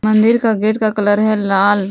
मंदिर का गेट का कलर है लाल।